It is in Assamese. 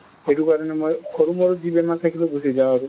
সেইটো কাৰণে মই সৰু মৰু যি বেমাৰ থাকিলেও গুছি যাওঁ আৰু।